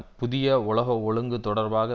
புதிய உலக ஒழுங்கு தொடர்பாக